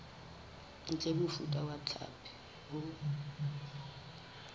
ntle mofuta wa hlapi o